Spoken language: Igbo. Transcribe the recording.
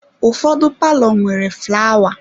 Ụfọdụ palọ nwere flawa.